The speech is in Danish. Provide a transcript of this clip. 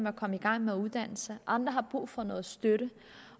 at komme i gang med uddannelse andre har brug for noget støtte